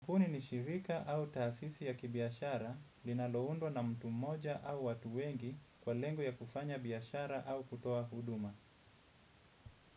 Kampuni ni shirika au taasisi ya kibiashara linaloundwa na mtu mmoja au watu wengi kwa lengo ya kufanya biashara au kutoa huduma.